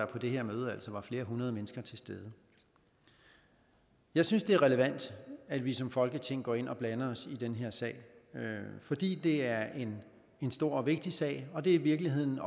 på det her møde altså var flere hundrede mennesker til stede jeg synes det er relevant at vi som folketing går ind og blander os i den her sag fordi det er en stor og vigtig sag og det er i virkeligheden